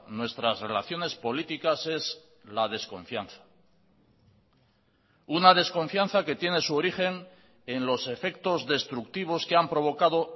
nuestras relaciones políticas es la desconfianza una desconfianza que tiene su origen en los efectos destructivos que han provocado